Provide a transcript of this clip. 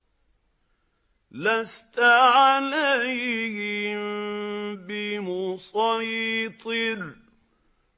لَّسْتَ عَلَيْهِم بِمُصَيْطِرٍ